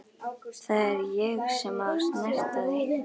Það er ég sem á að snerta þig.